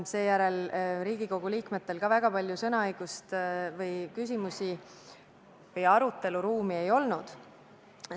Seejärel ka Riigikogu liikmetel väga palju sõnaõigust või küsimuste või arutelu ruumi ei olnud.